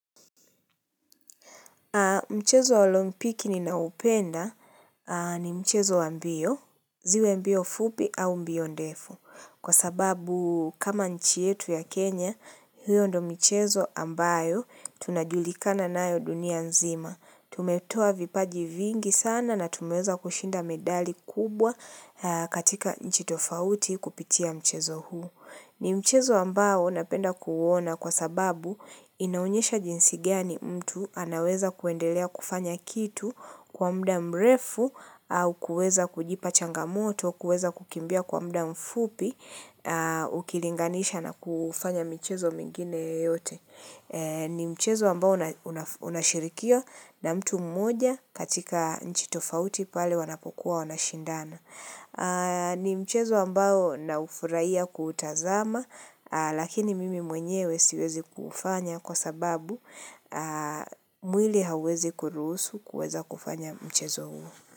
Mchezo wa lompiki ninaupenda ni mchezo wa mbio, ziwe mbio fupi au mbio ndefu. Kwa sababu kama nchi yetu ya Kenya, hiyo ndo michezo ambayo tunajulikana nayo dunia nzima. Tumetoa vipaji vingi sana na tumeweza kushinda medali kubwa katika nchi tofauti kupitia mchezo huu. Ni mchezo ambao napenda kuuona kwa sababu inaonyesha jinsi gani mtu anaweza kuendelea kufanya kitu kwa muda mrefu au kuweza kujipa changamoto, kuweza kukimbia kwa muda mfupi ukilinganisha na kufanya mchezo mingine yeyote. Ni mchezo ambao unashirikio na mtu mmoja katika nchi tofauti pale wanapokuwa wanashindana. Ni mchezo ambao ninaufurahia kuutazama lakini mimi mwenyewe siwezi kuufanya kwa sababu mwili hauwezi kuruhusu kuweza kufanya mchezo huo.